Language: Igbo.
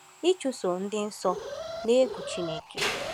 Ịchụso Ịdị nsọ n’egwu Chineke